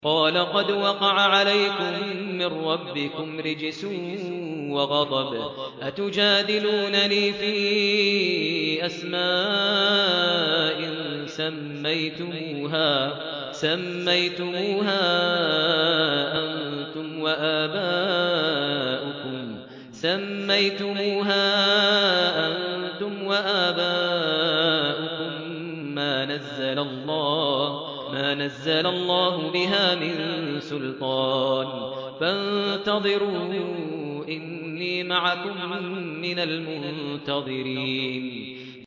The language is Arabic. قَالَ قَدْ وَقَعَ عَلَيْكُم مِّن رَّبِّكُمْ رِجْسٌ وَغَضَبٌ ۖ أَتُجَادِلُونَنِي فِي أَسْمَاءٍ سَمَّيْتُمُوهَا أَنتُمْ وَآبَاؤُكُم مَّا نَزَّلَ اللَّهُ بِهَا مِن سُلْطَانٍ ۚ فَانتَظِرُوا إِنِّي مَعَكُم مِّنَ الْمُنتَظِرِينَ